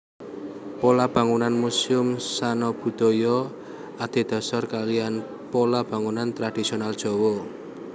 Pola bangunan Muséum Sanabudaya adhedasar kaliyan pola bangunan tradhisional Jawa